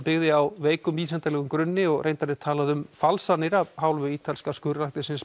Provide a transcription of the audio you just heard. byggði á veikum vísindalegum grunni og reyndar er talað um falsanir af hálfu ítalska